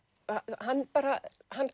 hann bara